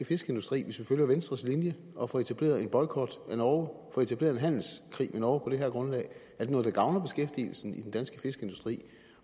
fiskeindustri hvis vi følger venstres linje og får etableret en boykot af norge får etableret en handelskrig med norge på det her grundlag er det noget der gavner beskæftigelsen i den danske fiskeindustri